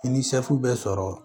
I ni sefu bɛ sɔrɔ